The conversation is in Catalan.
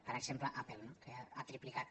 per exemple apple no que ha triplicat